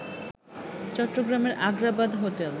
চট্টগ্রামের আগ্রাবাদ হোটেল